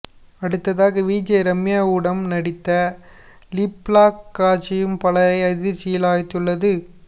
அடுத்ததாக விஜே ரம்யாவுடம் நடித்த லிப்லாக் காட்சியும் பலரை அதிர்ச்சியில் ஆழ்த்தியுள்ளது